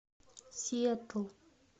сиэтл